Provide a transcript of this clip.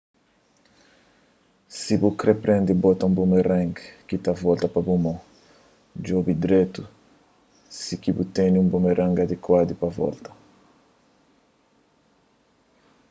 si bu kre prende bota un boomerang ki ta volta pa bu mon djobe dretu si ki bu tene un boomerang adikuadu pa volta